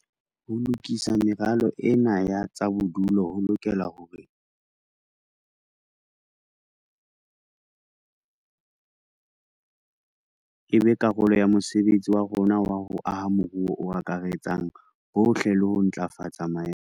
Ho lokisa meralo ena ya tsa bodulo ho lokela hore e be karolo ya mosebetsi wa rona wa ho aha moruo o akaretsang bohle le ho ntlafatsa maemo a ho phela a Maafrika